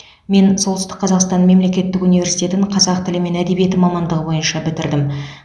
мен солтүстік қазақстан мемлекеттік университетін қазақ тілі мен әдебиеті мамандығы бойынша бітірдім